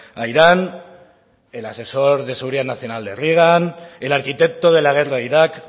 a irán el asesor de seguridad nacional de reagan el arquitecto de la guerra a irak